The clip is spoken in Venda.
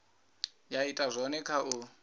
ya ita zwone kha u